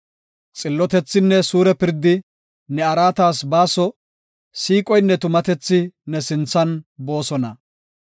Xillotethinne suure pirdi ne araatas baaso; siiqoynne tumatethi ne sinthan boosona.